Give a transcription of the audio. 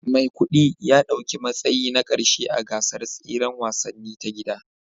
Maikudi ya dauki matsayi na karshe a gasar tseren wasanni ta gida